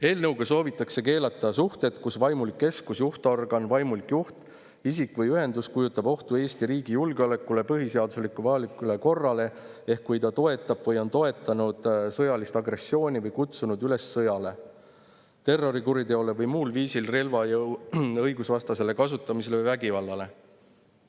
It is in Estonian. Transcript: Eelnõuga soovitakse keelata suhted, kui vaimulik keskus, juhtorgan, vaimulik juht, isik või ühendus kujutab ohtu Eesti riigi julgeolekule, põhiseaduslikule või avalikule korrale ehk kui ta toetab või on toetanud sõjalist agressiooni või kutsunud üles sõjale, terrorikuriteole või muul viisil relvajõu õigusvastasele kasutamisele või vägivallale.